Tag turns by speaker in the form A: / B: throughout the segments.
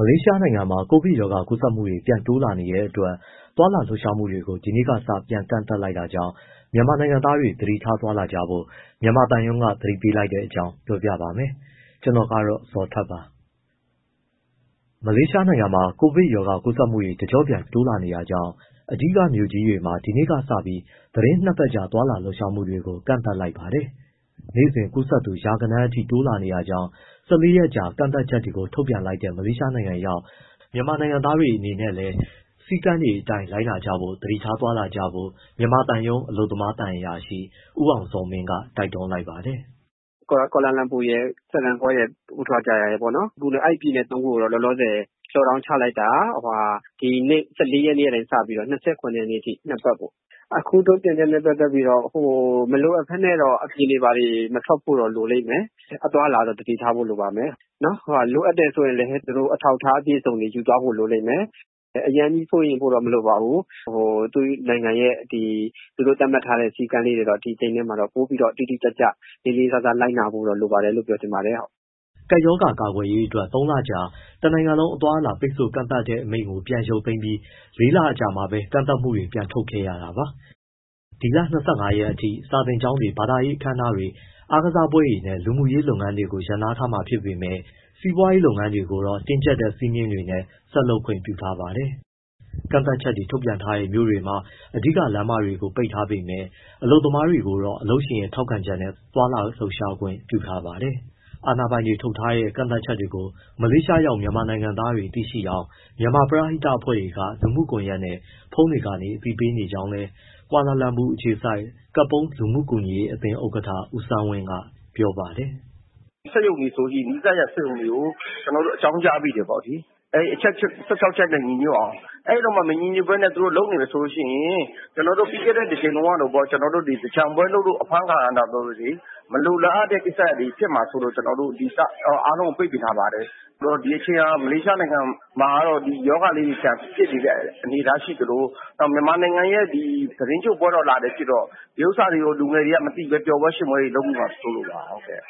A: မလေးရှားနိုင်ငံမှာ ကိုဗစ်ကပ်ရောဂါကူးစက်မှုတွေ ပြန်တိုးလာနေတဲ့အတွက် သွားလာလှုပ်ရှားမှုတွေကို ဒီနေ့ကစ ပြန်လည်ကန့်သတ်လိုက်တာကြောင့် မြန်မာနိုင်ငံသားတွေ သတိထား သွားလာကြဖို့ မြန်မာသံရုံးက သတိပေးလိုက်တဲ့အကြောင်း ပြောပြမှာပါ။ ဗွီအိုအေမြန်မာပိုင်းသတင်းထောက် ကိုဇော်ထက်က သတင်းပေးပို့ထားပါတယ်။ မလေးရှားနိုင်ငံမှာ ကိုဗစ်ရောဂါကူးစက်မှုတွေ တကျော့ပြန်တိုးလာနေတာကြောင့် အဓိကမြို့ကြီးတွေမှာ ဒီနေ့ကစပြီး သီတင်း ၂ ပတ်ကြာ သွားလာလှုပ်ရှားမှုတွေကို ကန့်သတ်လိုက်ပါတယ်။ နေ့စဉ်ကူးစက်သူ ရာဂဏန်းအထိ တိုးလာနေတာကြောင့် ၁၄ ရက်ကြာ ကန့်သတ်ချက်တွေ ထုတ်ပြန်လိုက်တဲ့ မလေးရှားနိုင်ငံရောက် မြန်မာနိုင်ငံသားတွေ အနေနဲ့လည်း စည်းကမ်းအတိုင်း လိုက်နာကြဖို့နဲ့ သတိထားသွားလာကြဖို့ မြန်မာသံရုံး အလုပ်သမားသံအရာရှိ ဦးအောင်ဇော်မင်းက တိုက်တွန်းလိုက်ပါတယ်။
B: “ကွာလာလမ်ပူရယ်၊ စလန်းဂေါရယ်၊ ပူထရာဂျာယာရယ် အဲဒီပြည်နယ်သုံးခုကိုတော့ လောလောဆယ် lockdown ချလိုက်တာ ဒီနေ့ ၁၄ ရက်ကစပြီးတော့ ၂၇ ရက်အထိ ၂ ပတ်ပေါ့။ အခု ထုတ်ပြန်ချက်နဲ့ ပတ်သက်ပြီးတော့ မလိုအပ်ဘဲ အပြင်တွေဘာတွေ မထွက်ဖို့တော့ လိုလိမ့်မယ်၊ အသွားအလာတော့ သတိထားဖို့ လိုပါမယ်။ လိုအပ်တယ်ဆိုရင် အထောက်အထား အပြည့်အစုံတွေ ယူသွားဖို့ လိုလိမ့်မယ်။ အရမ်းကြီး စိုးရိမ်ဖို့တော့ မလိုပါဘူး၊ သူ့နိုင်ငံရဲ့ ဒီ သူတို့သတ်မှတ်ထားတဲ့ စည်းကမ်းလေးတွေတော့ ဒီအချိန်မှာ ပိုပြီး တိတိကျကျ လေးလေးစားစား လိုက်နာဖို့တော့ လိုပါတယ်လို့ ပြောချင်ပါတယ်။”
A: ကပ်ရောဂါ ကာကွယ်ရေးအတွက် ၃ လကြာ တနိုင်ငံလုံး အသွားအလာ ပိတ်ဆို့ကန့်သတ်မိန့်ကို ပြန်လည်ရုပ်သိမ်းပြီး ၄ လ အကြာမှာပဲ ကန့်သတ်မှုတွေ ထုတ်ပြန်ခဲ့ရတာပါ။ ဒီလ ၂၅ ရက်နေ့အထိ စာသင်ကျောင်းတွေ၊ ဘာသာရေး အခမ်းအနားတွေ၊ အားကစားပွဲတွေနဲ့ လူမှုရေးလုပ်ငန်းတွေကို ရပ်နားထားမှာ ဖြစ်ပေမဲ့ စီးပွားရေးလုပ်ငန်းတွေကိုတော့ တင်းကြပ်တဲ့ စည်းမျဉ်းတွေနဲ့ ဆက်လုပ်ခွင့်ပြုထားပါတယ်။ ကန့်သတ်ချက်တွေ ထုတ်ပြန်ထားတဲ့ မြို့တွေမှာ အဓိကလမ်းမကြီးတွေကို ပိတ်ထားပေမဲ့ အလုပ်သမားတွေကိုတော့ လုပ်ငန်းရှင်ရဲ့ ထောက်ခံချက်နဲ့ သွားလာလှုပ်ရှားခွင့်ပြုထားပါတယ်။ အာဏာပိုင်တွေ ထုတ်ပြန်ထားတဲ့ ကန့်သတ်ချက်တွေကို မလေးရှားရောက် မြန်မာနိုင်ငံသားတွေ သိရှိနိုင်အောင် မြန်မာပရဟိတအဖွဲ့တွေက လူမှုကွန်ရက်နဲ့ ဖုန်းတွေကနေ အသိပေးနေကြောင်းလည်း ကွာလာလမ်ပူ အခြေစိုက် ကပုန်းလူမှုကူညီရေးအသင်း ဥက္ကဋ္ဌ ဦးဆန်းဝင်းက ပြောပါတယ်။
C: “စက်ရုံတွေဆိုရင် နီးစပ်တဲ့ စက်ရုံတွေကို ကျနော်တို့ အကြောင်းကြားပေးတယ်ပေါ့လေနော်။ အဲဒီအချက် ၁၆ ချက်နဲ့ ညီညွတ်အောင်။ အဲလိုမှမဟုတ်ဘဲ သူတို့လုပ်နေမယ်ဆိုရင် ကျနော်တို့ပြီးခဲ့တဲ့ တကြိမ်တုန်းကလိုပေါ့ သင်္ကြန်ပွဲလုပ်လို့ အဖမ်းခံရတာမျိုးတွေ မလိုလားအပ်တဲ့ ကိစ္စမျိုးတွေ ဖြစ်မှာစိုးလို့ အားလုံးကို ပိတ်ပင်ထားပါတယ်။ ဒီအချိန်ဟာ မလေးရှားနိုင်ငံမှာ ဒီရောဂါလေးတွေ ပြန်ဖြစ်နေတဲ့ အနေအထားရှိသလို မြန်မာနိုင်ငံရဲ့ သီတင်းကျွတ်လလည်း ဖြစ်တော့ ဒီဥစ္စာကို လူငယ်တွေက မသိဘဲ ပျော်ပွဲရွှင်ပွဲ လုပ်မိမှာ စိုးလို့ပါ
A: ။” ရဲစစ်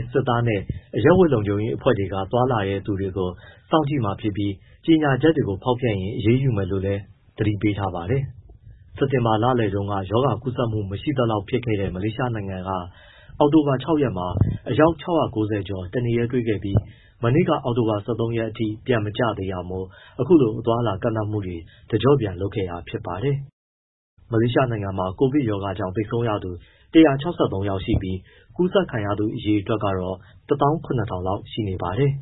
A: ၊ စစ်သားနဲ့ အရပ်ဝတ် လုံခြုံရေးအဖွဲ့တွေက သွားလာတဲ့သူတွေကို စောင့်ကြည့်မှာဖြစ်ပြီး ကြေညာချက်တွေကို ဖောက်ဖျက်ရင် အရေးယူမယ်လို့လည်း သတိပေးထားပါတယ်။ စက်တင်ဘာလလယ်ပိုင်းမှာ ရောဂါကူးစက်မှု မရှိသလောက် ဖြစ်ခဲ့တဲ့ မလေးရှားနိုင်ငံက အောက်တိုဘာ ၆ ရက်မှာ အယောက် ၆၉၀ ကျော်တနေ့တည်းတွေ့ခဲ့ပြီး မနေ့က အောက်တိုဘာ ၁၃ ရက်အထိ ပြန်မကျသေးတာမို့ အခုလို အသွားအလာကန့်သတ်မှုတွေ တကြော့ပြန်လုပ်ခဲ့တာဖြစ်ပါတယ်။ မလေးရှားနိုင်ငံမှာ ကိုဗစ်ရောဂါကြောင့် သေဆုံးရသူ ၁၆၃ ယောက်ရှိပြီး ကူးစက်ခံရသူအရေအတွက်ကတော့ ၁၇,၀၀၀ လောက် ရှိနေပါတယ်